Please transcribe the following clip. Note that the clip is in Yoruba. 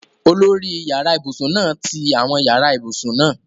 Olórí yàrá ibùsùn náà ti àwọn yàrá ibùsùn náà